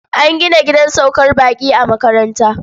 An gina gidan saukar baƙi a makaranta.